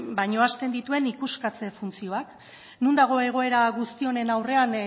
baina ahazten dituen ikuskatze funtzioak non dago egoera guzti honen aurrean